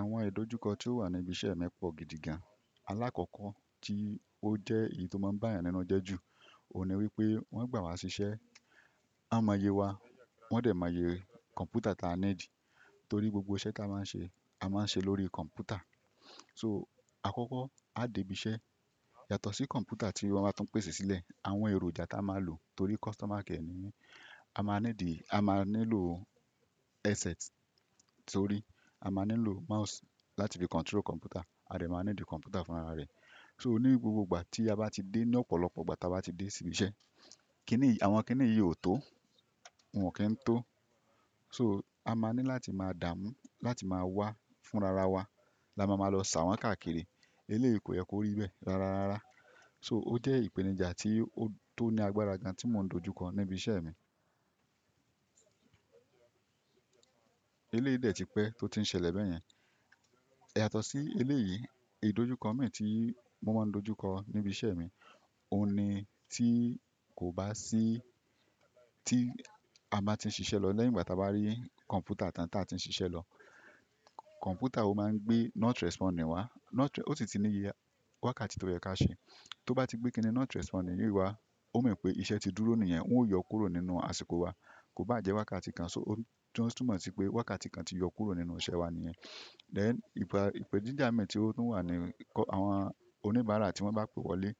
Àwọn ìdojúkọ tí ó wà níbi iṣẹ́ mi pọ̀ gidi gan. Alákọ̀ọ́kọ́ tí ó jẹ́ èyí tó máa ń bá eeyan ninu je ju, òun ni wípé wọ́n gbà wá ṣiṣẹ́, a mo ye wa, wọ́n dè mo ye kọ̀npútà tí a ní dì torí gbogbo iṣẹ́ tí a máa ń ṣe, a máa ń ṣe lórí kọ̀npútà. So àkọ́kọ́, a dé ibi iṣẹ́ yàtọ̀ sí kọ̀npútà tí wọ́n máa tuń pèsè sílẹ̀, àwọn èròjà tí a máa ń lò torí customer nimi a máa ní dì, a máa ní lò headset sorí a máa ní lò mouse láti fi control kọ̀npútà, a dè máa ní dì kọ̀npútà fún ara rẹ̀. So ní gbogbo ìgbà tí a bá ti dé ní ọ̀pọ̀lọpọ̀ ìgbà tí a bá ti dé sí ibi iṣẹ́, kínìyí àwọn kínìyí ò tó, wọn ki ń tó. So a máa ní láti máa dààmú láti máa wá fún rara wa. La máa ma lọ sa wọ́n káàkiri. Eléyi ko yẹ kò rí bẹ́ẹ̀ rárárará. So ó jẹ́ ìpèníjà tí ó tó ní agbára gan tí mò ń dojúkọ níbi iṣẹ́ mi. Eléyìí dẹ̀ ti pẹ́ tó ti ń ṣẹlẹ̀ bẹ́yẹn. Yàtọ̀ sí eléyìí, ìdojúkọ mìí tí mo máa ń dojúkọ níbi iṣẹ́ mi, òun ni tí kò bá sí tí a ba ti ń ṣiṣẹ́ lọ lẹ́yìn ìgbà tí a bá rí kọ̀npútà tán tí a ti ń ṣiṣẹ́ lọ. Kọ̀npútà ó máa ń gbé not responding wá. Not re-- ó si ti ní iye wákàtí tó yẹ ka ṣe. Tó bá ti gbé kí ni not responding yìí wá, ó mean pé iṣẹ́ ti dúró nìyẹn, woń ó yọ kúrò nínú àsìkò wa. Kò bá jẹ́ wákàtí kan, so ó túmọ̀ sí pé wákàtí kan ti yọ kúrò nínú iṣẹ́ wa nìyẹn. Ìpè díjà mìí tí ó tún wà ní kọ́ àwọn oníbàárà tí wọ́n bá pè wọlé.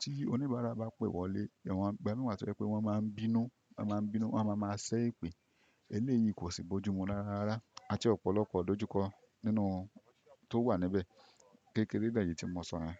Tí oníbàárà bá pè wọlé, ẹ̀ wọ́n gba mí wà tó jẹ́ pé wọ́n máa ń bínú, wọ́n máa ń bínú, wọ́n máa máa ṣẹ́ èpè. Eléyìí kò sì bójú mu rárárará. A ti ọ̀pọ̀lọpọ̀ ìdojúkọ nínú tó wà níbẹ̀. Kékéérè bẹ́ẹ̀ nìí tí mo sọ yẹn.